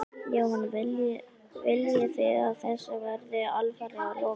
Jóhann: Viljið þið að þessu verði alfarið lokað?